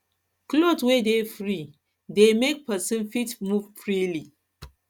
cloth wey dey free wey dey free go make person fit move freely